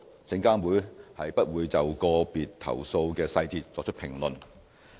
證監會不會就個別投訴的細節作出評論。